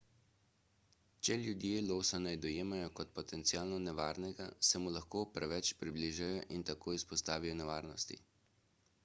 če ljudje losa ne dojemajo kot potencialno nevarnega se mu lahko preveč približajo in se tako izpostavijo nevarnosti